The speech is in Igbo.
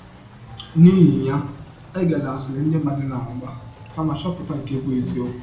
N’ihi ya, egela asịrị ndị mmadụ na - agba, kama chọpụta nke bụ́ eziọkwụ.